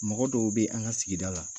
Mɔgɔ dɔw be an ŋa sigida la